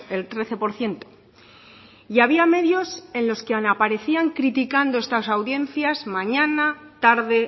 el trece por ciento y había medios en los que aunque aparecían criticando estas audiencias mañana tarde